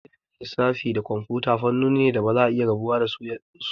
Ilimin lissafi da kimiyyar kwamfuta fannoni ne da a yanzu ba za'a iya raba su ba.